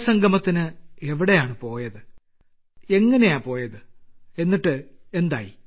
സംഗമത്തിന് എവിടെപ്പോയി എങ്ങിനെ പോയി എങ്ങനുണ്ടായിരുന്നു